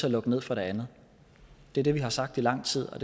at lukke ned for det andet det er det vi har sagt i lang tid og